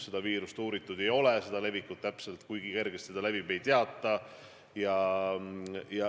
Seda viirust uuritud ei ole, selle levikut, seda, kui kergesti ta levib, ei teata.